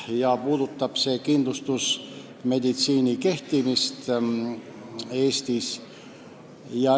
See puudutab kindlustusmeditsiini kehtimist Eestis.